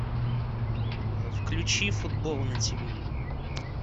включи футбол на тв